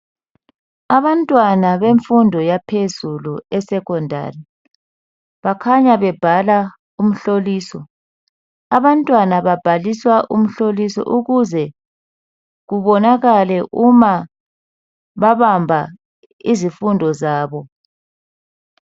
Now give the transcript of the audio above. Abantwana bemfundo yaphezulu e"Secondary "bakhanya bebhala umhlolisi, abantwana babhaliswa umhloliso ukuze kubonakale ukuba babamba izifundo zabo.